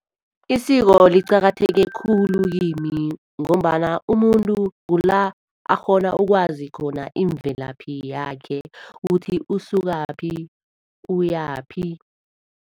Isiko liqakatheke khulu kimi, ngombana umuntu kula akghona ukwazikhona imvelaphi yakhe, ukuthi usukakuphi ukuyaphi.